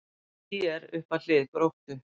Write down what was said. ÍR upp að hlið Gróttu